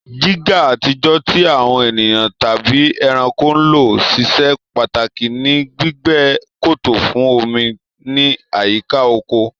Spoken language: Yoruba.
jígà àtijọ́, tí àwọn ènìyàn tàbí ẹranko ń ló, ṣiṣẹ́ pàtàkì ní gbígbẹ́ kòtò fún omi ní àyíká oko.